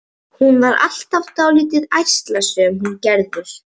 Hún var alltaf dálítið ærslasöm, hún Gerður.